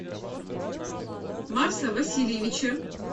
марса васильевича